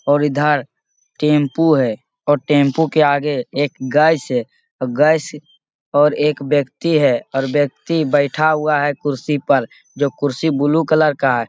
और इधर टेंपो है और टेंपो के आगे एक गाय से और एक व्यक्ति हैऔर व्यक्ति बैठा हुआ है कुर्सी पर जो कुर्सी ब्लू कलर का है।